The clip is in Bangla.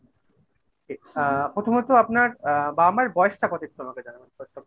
আহ প্রথমত আপনার অ্যা বাবা মার বয়সটা কত একটু আমাকে জানাবেন